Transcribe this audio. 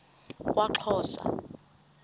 kwaxhosa